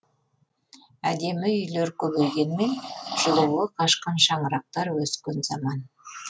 әдемі үйлер көбейгенмен жылуы қашқан шаңырақтар өскен заман